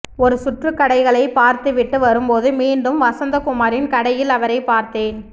ஒரு சுற்று கடைகளை பார்த்துவிட்டு வரும்போது மீண்டும் வசந்தகுமாரின் கடையில் அவரை பார்த்தேன்